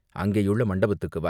அங்கேயுள்ள மண்டபத்துக்கு வா."